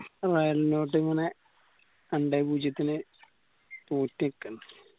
ആ വയലിലോട്ട് ഇങ്ങനെ രണ്ടേ പൂജ്യത്തില്